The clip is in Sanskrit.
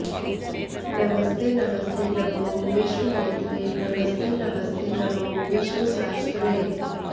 नमस्ते नमस्ते नमो विश्वनेत्रे नमस्ते नमस्ते नमो विश्वशास्त्रे